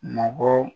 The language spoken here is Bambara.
Mɔgɔ